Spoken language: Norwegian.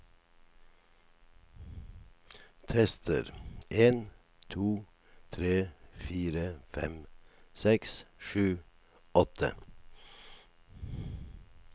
Tester en to tre fire fem seks sju åtte